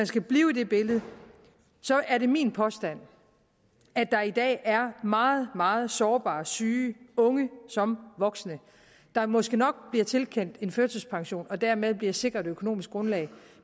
skal blive i det billede er det min påstand at der i dag er meget meget sårbare og syge unge som voksne der måske nok bliver tilkendt en førtidspension og dermed bliver sikret et økonomisk grundlag